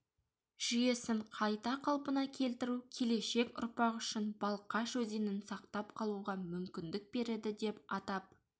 жүйесін қайта қалпына келтіру келешек ұрпақ үшін балқаш өзенін сақтап қалуға мүмкіндік береді деп атап